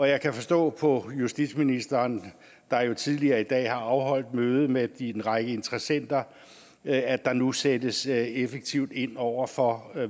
jeg kan forstå på justitsministeren der jo tidligere i dag har afholdt møde med en række interessenter at der nu sættes effektivt ind over for